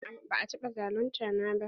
A'a ba a taɓa zalunta na ba.